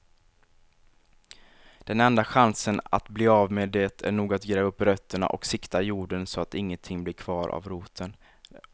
Den enda chansen att bli av med det är nog att gräva upp rötterna och sikta jorden så att ingenting blir kvar av roten.